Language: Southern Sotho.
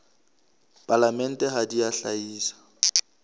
palamente ha di a hlahisa